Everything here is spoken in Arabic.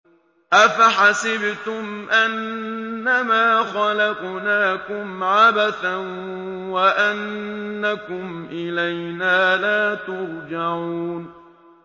أَفَحَسِبْتُمْ أَنَّمَا خَلَقْنَاكُمْ عَبَثًا وَأَنَّكُمْ إِلَيْنَا لَا تُرْجَعُونَ